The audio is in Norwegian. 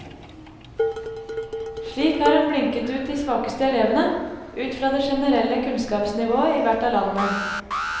Slik har en blinket ut de svakeste elevene, ut fra det generelle kunnskapsnivået i hvert av landene.